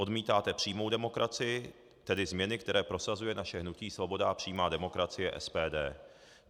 Odmítáte přijmout demokracii, tedy změny, které prosazuje naše hnutí Svoboda a přímá demokracie, SPD.